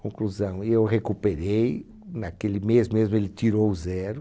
Conclusão, eu recuperei, naquele mês mesmo ele tirou zero.